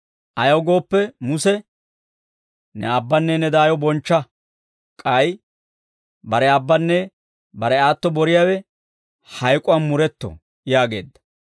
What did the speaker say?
Ayaw gooppe Muse, ‹Ne aabbanne ne daayo bonchcha› K'ay, ‹Bare aabbanne bare aatto boriyaawe hayk'uwaan muretto› yaageedda.